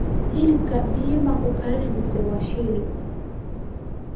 hilib biyo maa ku karini mise waa shilli